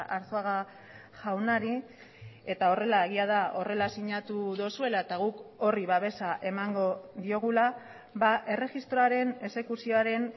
arzuaga jaunari eta horrela egia da horrela sinatu duzuela eta guk horri babesa emango diogula erregistroaren exekuzioaren